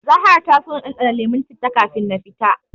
Zahra ta so na ɗanɗana lemon citta kafin na tafi.